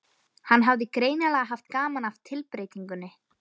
Hann hafði greinilega haft gaman af tilbreytingunni.